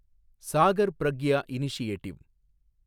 Sagar Pragya initiative